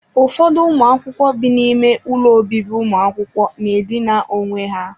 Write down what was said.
Ụfọdụ ụmụ akwụkwọ bi n'ime ụlọ obibi ụmụ akwụkwọ na-edina onwe ha.